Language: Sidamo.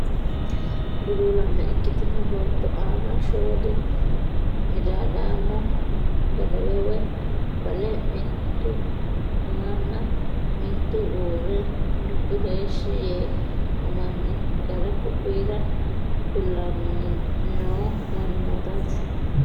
Buluulaame ikkitino baatto aana shooli midaadaamo gadawe woy bale mitu umanna mitu uurre mitu heeshshi yee ummanni gara ku'uyra kulannni noo mannootaati.